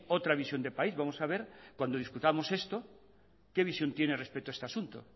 otra visión de país vamos a ver cuando discutamos esto qué visión tiene respecto a este asunto